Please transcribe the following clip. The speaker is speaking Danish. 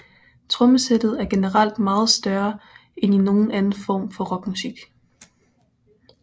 Trommesættet er generelt meget større end i nogen anden form for rockmusik